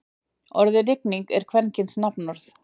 Orðið rigning er kvenkyns nafnorð.